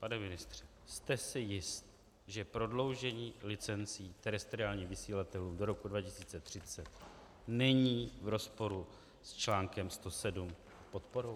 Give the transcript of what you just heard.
Pane ministře, jste si jist, že prodloužení licencí terestriálních vysílatelů do roku 2030 není v rozporu s článkem 107 podporou?